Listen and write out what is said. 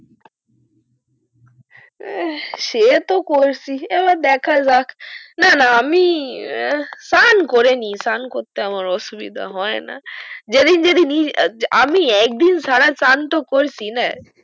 সে তো করেছি এবার দেখা যাক না না আমি চান করেনি চান করতে আমার অসুবিধা হয়না যেদিন যেদিনই আমি একদিন ছাড়া চান তো করছিনা